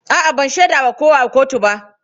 A'a, ban shaida wa kowa a kotu ba.